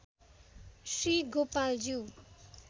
Shri Gopaljyu